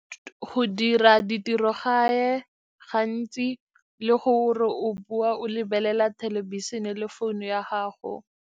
Go dira di tirogae gantsi le gore o bua o lebelela thelebišene le founu ya gago.